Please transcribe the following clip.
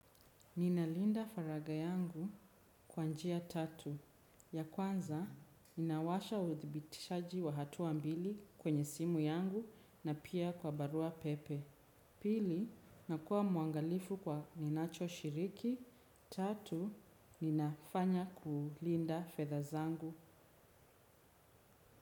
Ninalinda faragha yangu kwa njia tatu ya kwanza, ninawasha uthibitishaji wa hatua mbili kwenye simu yangu na pia kwa barua pepe. Pili, nakua mwangalifu kwa ninachoshiriki. Tatu, ninafanya kulinda fedha zangu.